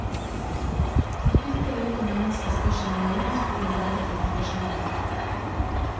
Et bitte lite menneske spør seg naivt hvordan verden henger sammen.